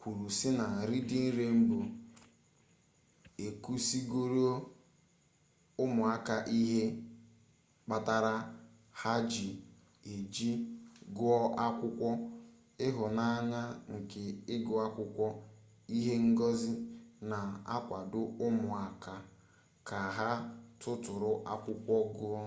kwuru si na reading rainbow ekuzigoro umuaka ihe kpatara ha ga eji guo akwukwo ...ihunanya nke igu akwukwo -[ihe ngosi] na-akwado umuaka ka ha tuturu akwukwo guo.